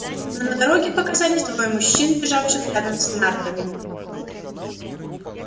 но на дороге вскоре показались двое мужчин бежавших рядом с нартами